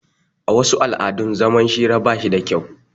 A wasu al'adun zaman hira bashi da kyau